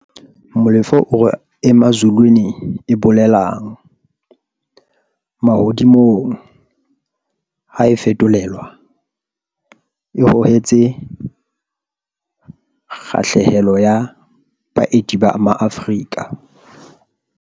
Molefe o re Emazulwini, e bolelang 'mahodimo' ha e fetolelwa, e hohetse kgahlehelo ya baeti ba maAfrika